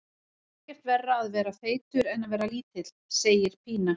Það er ekkert verra að vera feitur en að vera lítill, segir Pína.